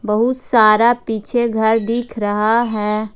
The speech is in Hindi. बहुत सारा पीछे घर दिख रहा है।